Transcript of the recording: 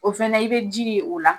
O fɛnɛ i be ji ye o la